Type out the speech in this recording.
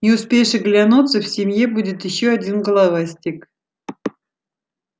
не успеешь оглянуться в семье будет ещё один головастик